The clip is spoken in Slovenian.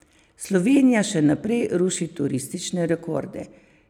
Slovenija še naprej ruši turistične rekorde.